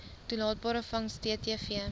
toelaatbare vangs ttv